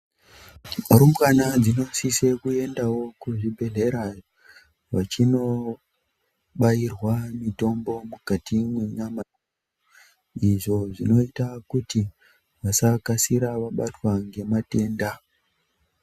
Rumbwana dzinosiswewo kuenda kuzvibhedhlera vechinobairwa mitombo mukati menyama izvo zvinoita kuti wasakasire vabatwa nematenda.